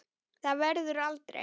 Það verður aldrei.